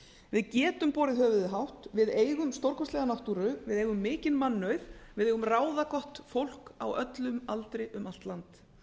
við getum borið höfuðið hátt við eigum stórkostlega náttúru við eigum mikinn mannauð við eigum ráðagott fólk á öllum aldri um allt land